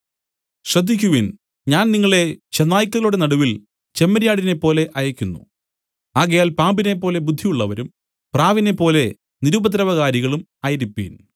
ശ്രദ്ധിക്കുവിൻ ഞാൻ നിങ്ങളെ ചെന്നായ്ക്കളുടെ നടുവിൽ ചെമ്മരിയാടിനെപ്പോലെ അയയ്ക്കുന്നു ആകയാൽ പാമ്പിനെപ്പോലെ ബുദ്ധിയുള്ളവരും പ്രാവിനേപ്പോലെ നിരുപദ്രവകാരികളും ആയിരിപ്പിൻ